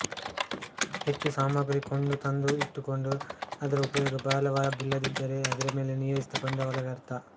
ಹೆಚ್ಚು ಸಾಮಗ್ರಿ ಕೊಂಡು ತಂದು ಇಟ್ಟುಕೊಂಡು ಅದರ ಉಪಯೋಗ ಬಹಳವಾಗಿಲ್ಲದಿದ್ದರೆ ಅದರ ಮೇಲೆ ನಿಯೋಜಿಸಿದ ಬಂಡವಾಳ ವ್ಯರ್ಥ